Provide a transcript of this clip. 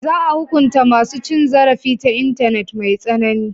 Za a hukunta masu cin zarafi ta intanet mai tsanani.